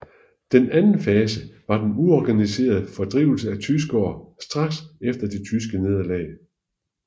Den anden fase var den uorganiserede fordrivelse af tyskere straks efter det tyske nederlag